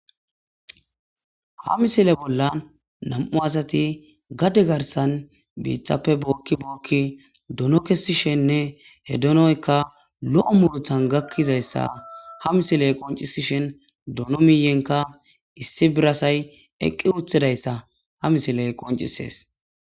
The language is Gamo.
ha misile bollan nam7u asati gadde garsan biithappe bookki bookki duno kessishenne he donoyka lo7o muluthan gakkizayssa ha misiley qoncisishen dono miiyenka issi birasay eqqi uthidayssa ha misiley qoncisees